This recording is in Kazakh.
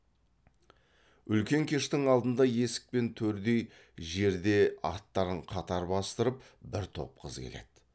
үлкен кештің алдында есік пен төрдей жерде аттарын қатар бастырып бір топ қыз келеді